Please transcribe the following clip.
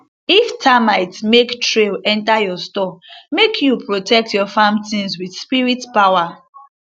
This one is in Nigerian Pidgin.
if termites make trail enter your store make you protect your farm things with spirit power